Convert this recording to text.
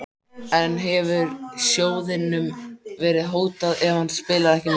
En hefur sjóðnum verið hótað ef hann spilar ekki með?